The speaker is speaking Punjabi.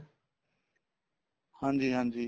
ਹਾਂਜੀ ਹਾਂਜੀ